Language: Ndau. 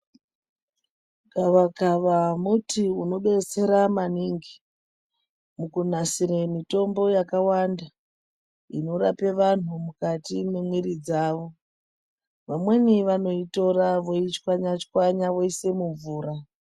Gavakava muti unobetsera maningi mukunasire mitombo yakawanda inorapa vantu mukati mwemwiri dzavo. Vamweni vanoitora voichwanya-chwanya voise mumvura.